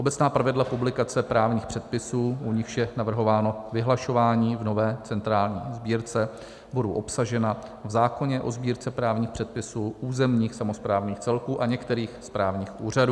Obecná pravidla publikace právních předpisů, u nichž je navrhováno vyhlašování v nové centrální sbírce, budou obsažena v zákoně o Sbírce právních předpisů územních samosprávných celků a některých správních úřadů.